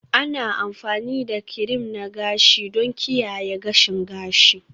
Ana amfani da kirim na gashi don kiyaye gashin gashi